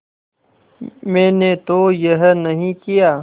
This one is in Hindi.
मैंने तो यह नहीं किया